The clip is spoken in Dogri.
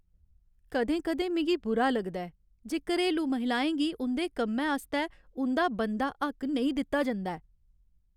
कदें कदें मिगी बुरा लगदा ऐ जे घरेलू महिलाएं गी उं'दे कम्मै आस्तै उं'दा बनदा हक्क नेईं दित्ता जंदा ऐ।